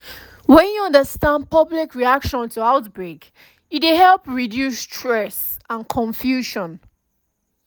when you understand public reaction to outbreak e dey help reduce stress and confusion